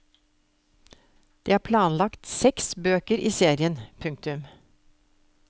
Det er planlagt seks bøker i serien. punktum